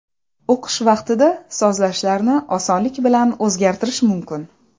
O‘qish vaqtida sozlashlarni osonlik bilan o‘zgartirish mumkin.